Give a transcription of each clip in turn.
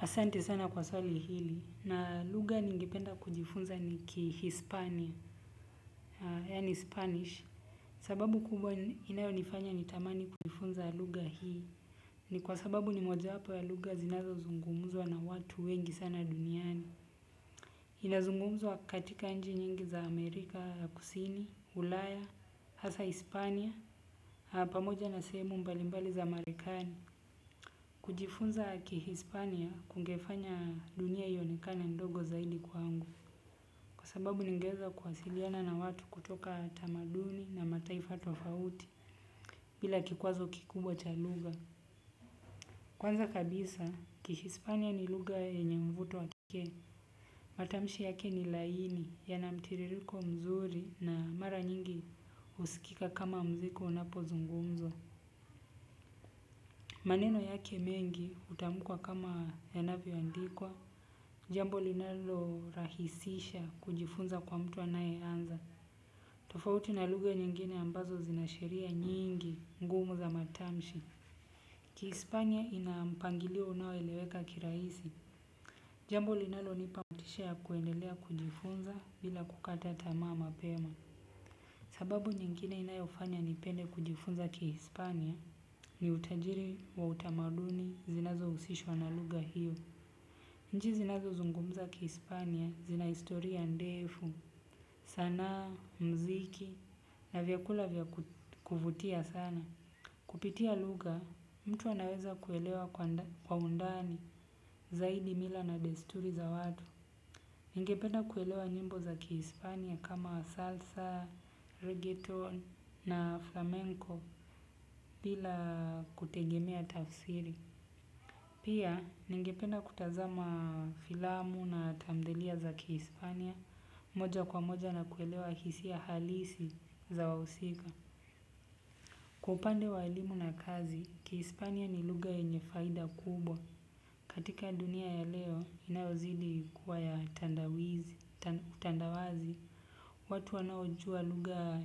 Asante sana kwa swali hili na lugha ningependa kujifunza ni ki Hispania, yani Spanish. Sababu kubwa inayo nifanya nitamani kujifunza lugha hii ni kwa sababu ni mojawapo ya lugha zinazo zungumzwa na watu wengi sana duniani. Inazungumzwa katika nchi nyingi za Amerika kusini, Ulaya hasa hispania na pamoja na sehemu mbali mbali za Marekani kujifunza kihispania kungefanya dunia ionekane ndogo zaidi kwangu sababu ningeweza kuwasiliana na watu kutoka tamaduni na mataifa tofauti. Bila kikwazo kikubwa cha lugha. Kwanza kabisa kihispania ni lugha yenye mvuto wa pekee. Matamshi yake ni laini yana mtiririko mzuri na mara nyingi huskika kama mziki unapo zungumzwa. Maneno yake mengi hutamkwa kama yanavyo andikwa jambo linalo rahisisha kujifunza kwa mtu anayeanza. Tofauti na lugha nyingine ambazo zina sheria nyingi ngumu za matamshi. Ki Hispania ina mpangilio unao eleweka kirahisi. Jambo linalo nipa motisha ya kuendelea kujifunza bila kukata tamaa mapema. Sababu nyingine inayo fanya nipende kujifunza ki Hispania ni utajiri wa utamaduni zinazo husishwa na lugha hiyo. Nchi zinazo zungumza kihispania zina historia ndefu, sanaa, mziki na vyakula vya kuvutia sana. Kupitia lugha mtu anaweza kuelewa kwa undani zaidi mila na desturi za watu ningependa kuelwa nyimbo za kihispania kama salsa. Pia, ningependa kutazama filamu na tamthiliya za Kihispania moja kwa moja na kuelewa hisia halisi za wahusika. Kwa upande wa elimu na kazi, Kihispania ni lugha yenye faida kubwa. Katika dunia ya leo inayo zidi kuwa ya tandawazi, watu wanaojua lugha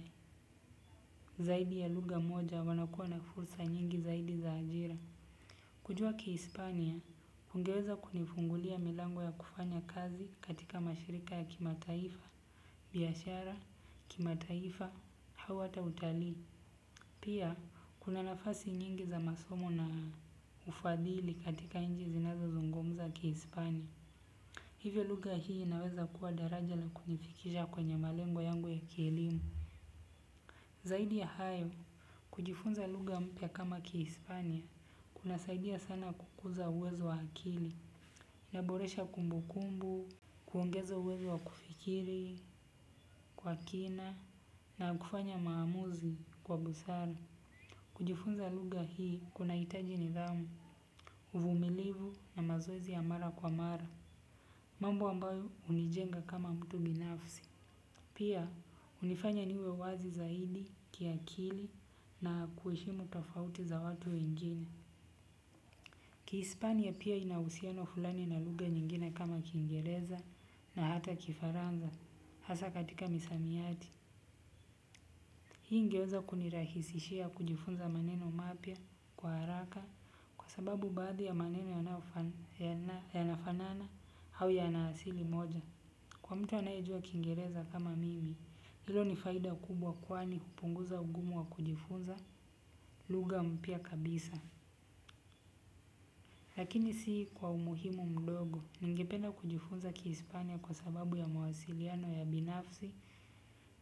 zaidi ya lugha moja wanakuwa na fursa nyingi zaidi za ajira. Kujua kihispania ungeweza kunifungulia milango ya kufanya kazi katika mashirika ya kimataifa, biashara, kimataifa, au hata utalii. Pia, kuna nafasi nyingi za masomo na ufadhili katika nchi zinazo zungumza kihispania. Hivyo lugha hii inaweza kuwa daraja la kunifikisha kwenye malengo yangu ya kielimu. Zaidi ya hayo, kujifunza lugha mpya kama kihispania kuna saidia sana kukuza uwezo wa akili inaboresha kumbukumbu, kuongeza uwezo wa kufikiri kwa kina na kufanya maamuzi kwa busara. Kujifunza lugha hii kuna hitaji nidhamu, uvumilivu na mazoezi ya mara kwa mara mambo ambayo hunijenga kama mtu binafsi. Pia, hunifanya niwe wazi zaidi kiakili na kuheshimu tofauti za watu wengine. Kihispania pia ina husiano fulani na lugha nyingine kama kingereza na hata kifaransa, hasa katika misamiati. Hii ingeweza kunirahisishia kujifunza maneno mapya kwa haraka kwa sababu baadhi ya maneno yanafanana au yana asili moja. Kwa mtu anayejua kingereza kama mimi hilo ni faida kubwa kwani hupunguza ugumu wa kujifunza lugha mpya kabisa. Lakini si kwa umuhimu mdogo, ningependa kujifunza kia Hispania kwa sababu ya mawasiliano ya binafsi,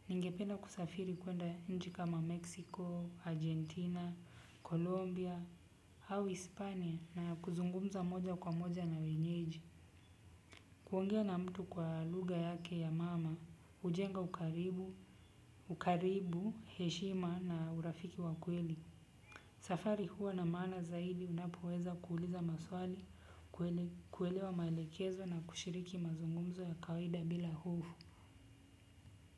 ningependa kusafiri kuenda mji kama Meksiko, Argentina, Kolombia, au Hispania na kuzungumza moja kwa moja na wenyeji. Kuongea na mtu kwa lugha yake ya mama, hujenga ukaribu, ukaribu, heshima na urafiki wa kweli. Safari huwa na maana zaidi unapoweza kuuliza maswali, kuelewa maelekezo na kushiriki mazungumzo ya kawaida bila hofu.